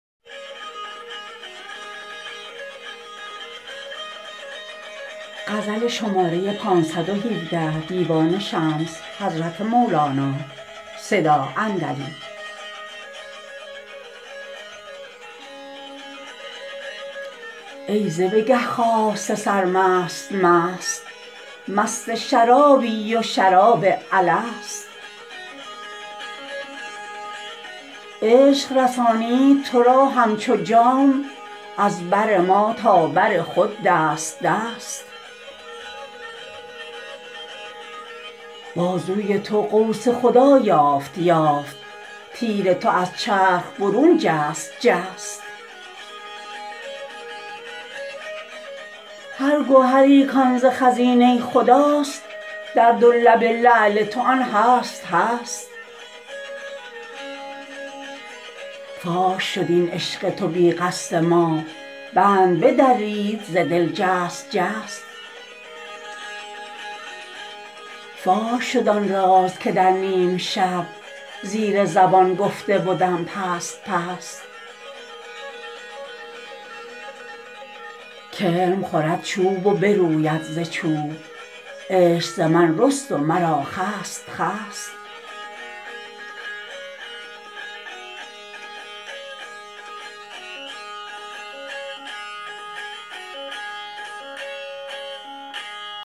ای ز بگه خاسته سر مست مست مست شرابی و شراب الست عشق رسانید تو را همچو جام از بر ما تا بر خود دست دست بازوی تو قوس خدا یافت یافت تیر تو از چرخ برون جست جست هر گهری کان ز خزینه خداست در دو لب لعل تو آن هست هست فاش شد این عشق تو بی قصد ما بند بدرید ز دل جست جست فاش شد آن راز که در نیم شب زیر زبان گفته بدم پست پست کرم خورد چوب و بروید ز چوب عشق ز من رست و مرا خست خست